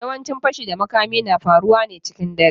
Yawancin fashi da makami na faruwa ne cikin dare.